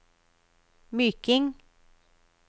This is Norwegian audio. Myking